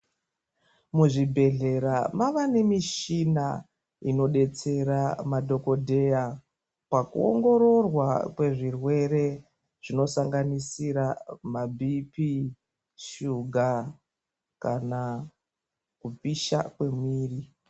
Muzvibhedlera mava nemishina inodetsera madokodheya pakuongororwa kwezvirwere zvinosanganisira mabipi ,shuga kana kupisha kwemiviri .